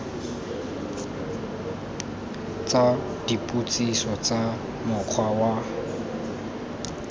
tsa dipotsiso tsa mokgwa wa